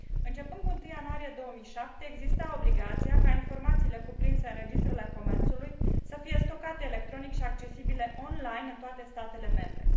Începând cu 1 ianuarie 2007, există obligația ca informațiile cuprinse în registrele comerțului să fie stocate electronic și accesibile online în toate statele membre.